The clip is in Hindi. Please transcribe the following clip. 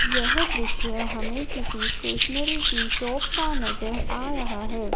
यह दृश्य हमें किसी स्टेशनरी की शॉप का नज़र आ रहा है।